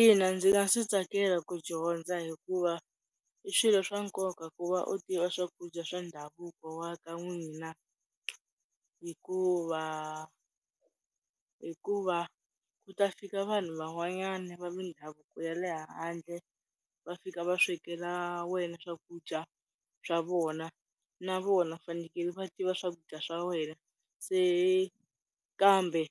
Ina, ndzi nga swi tsakela ku dyondza hikuva i swilo swa nkoka ku va u tiva swakudya swa ndhavuko wa ka n'wina. Hikuva, hikuva ku ta fika vanhu van'wanyana va mindhavuko ya le handle va fika va swekela wena swakudya swa vona, na vona vafanekele va tiva swakudya swa wena se kambe